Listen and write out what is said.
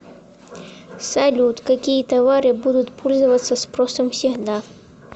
салют какие товары будут пользоваться спросом всегда